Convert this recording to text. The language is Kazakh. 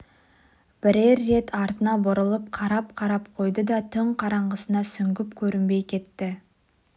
бірер рет артына бұрылып қарап-қарап қойды да түн қараңғысына сүңгіп көрінбей кетті